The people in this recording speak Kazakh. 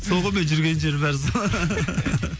сол ғой менің жүрген жерім бәрі сол